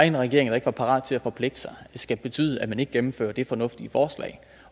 en regering der ikke var parat til at forpligte sig skal betyde at man ikke gennemfører det fornuftige forslag